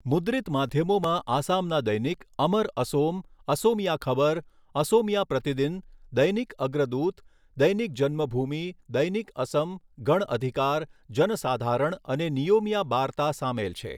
મુદ્રિત માધ્યમોમાં આસામના દૈનિક અમર અસોમ, અસોમિયા ખબર, અસોમિયા પ્રતિદિન, દૈનિક અગ્રદૂત, દૈનિક જન્મભૂમિ, દૈનિક અસમ, ગણ અધિકાર, જનસાધારણ અને નિયોમિયા બાર્તા સામેલ છે.